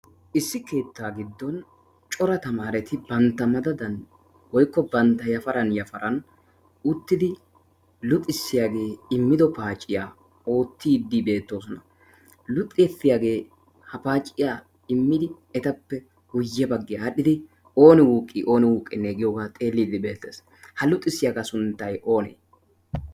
issi keettaa giddon cora tamaareti bantta madadan woikko bantta yafaran yafaran uttidi luxissiyaagee immido paaciyaa oottiiddi beettoosona luxxesiyaagee ha paaciya immidi etappe guyye baggiyaa aadhdhidi ooni wuuqqi ooni huuqinne giyoogaa xeeliiddi beettees ha luuxissiyaagaa sunttay oonee